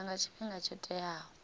itwa nga tshifhinga tsho teaho